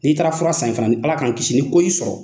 N'i taara fura san in fana Ala k'an kisi ni ko y'i sɔrɔ